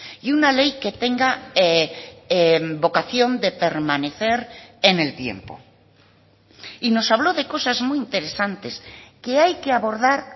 y una ley que tenga vocación de permanecer en el tiempo y nos habló de cosas muy interesantes que hay que abordar